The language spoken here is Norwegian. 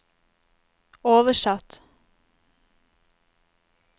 oversatt